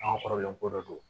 An ka kɔrɔlen ko dɔ do